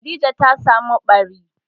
Khadija ta samu ɓari.